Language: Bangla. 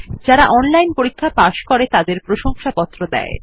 যারা অনলাইন পরীক্ষা পাস করে তাদের প্রশংসাপত্র দেয়